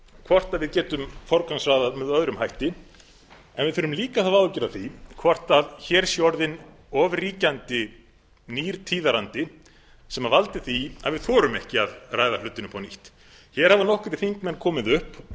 hvort við getum forgangsraðað með öðrum hætti við þurfum líka að hafa áhyggjur af því hvort hér sé orðin of ríkjandi nýr tíðarandi sem valdi því að við þorum ekki að ræða hlutina upp á nýtt hér hafa nokkrir þingmenn komið upp